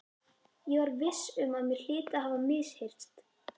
Ég var viss um að mér hlyti að hafa misheyrst.